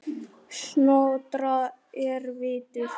Snotra er vitur